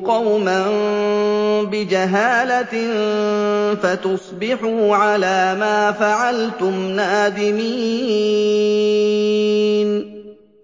قَوْمًا بِجَهَالَةٍ فَتُصْبِحُوا عَلَىٰ مَا فَعَلْتُمْ نَادِمِينَ